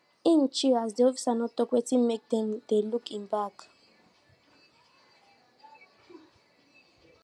him chill as de officers no tok wetin mak dem dey look hin bag